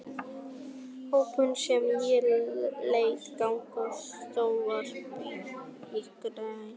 hrópunum sem ég lét ganga af sjónvarpsskjánum í gærkvöldi.